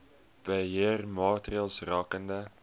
beheer maatreëls rakende